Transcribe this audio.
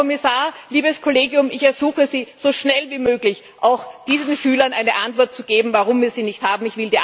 Herr Kommissar, liebes Kollegium, ich ersuche Sie, so schnell wie möglich auch diesen Schülern eine Antwort zu geben, warum wir sie nicht haben.